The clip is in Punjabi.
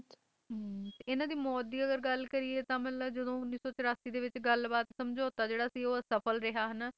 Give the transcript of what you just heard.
ਹਮ ਇਨ੍ਹਾਂ ਦੀ ਮੌਤ ਦੀ ਅਗਰ ਗੱਲ ਕਰੀਏ ਤਾਂ ਮਤਲਬ ਜਦੋਂ ਉੱਨੀ ਸੌ ਚੋਰਾਸੀ ਦੇ ਵਿੱਚ ਜਦੋਂ ਗੱਲ ਬਾਤ ਦਾ ਸਮਝੈਤਾ ਜਿਹੜਾ ਸੀ ਉਹ ਆਸਫਲ ਰਿਹਾ